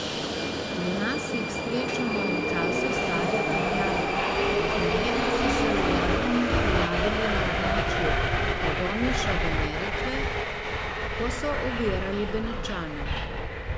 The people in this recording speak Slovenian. Pri nas jih srečamo v času starih Rimljanov, pozneje pa so se v Jadranu pojavili na območju od Omiša do Neretve, ko so ovirali Benečane.